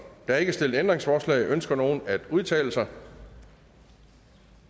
er ikke stillet ændringsforslag ønsker nogen at udtale sig